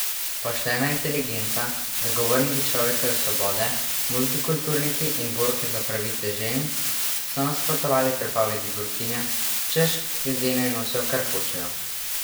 Poštena inteligenca, zagovorniki človekove svobode, multikulturniki in borke za pravice žensk so nasprotovali prepovedi burkinija, češ, ljudje naj nosijo, kar hočejo.